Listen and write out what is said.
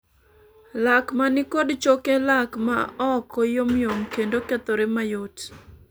lak mani kod choke lak maoko yomyom kendo kethore ma yot